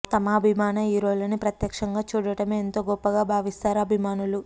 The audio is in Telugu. తమ అభిమాన హీరోలని ప్రత్యక్షంగా చూడటమే ఎంతో గొప్పగా భావిస్తారు అభిమానులు